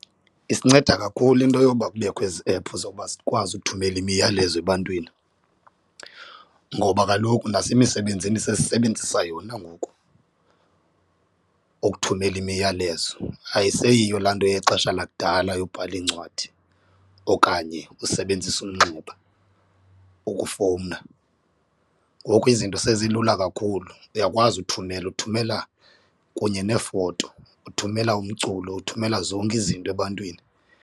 Isinceda kakhulu into yoba kubekho ezi app zowuba sikwazi ukuthumela imiyalezo ebantwini, ngoba kaloku nasemisebenzini sesisebenzisa yona ngoku ukuthumela imiyalezo, ayiseyiyo laa nto yexesha lakudala yobhala iincwadi okanye usebenzise umxeba ukufowuna. Ngoku izinto sezilula kakhulu uyakwazi uthumela uthumela kunye neefoto uthumela umculo uthumela zonke izinto ebantwini.